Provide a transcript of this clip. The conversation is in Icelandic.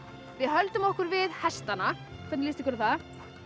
við höldum okkur við hestana hvernig líst ykkur á það